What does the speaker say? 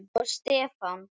Árný og Stefán.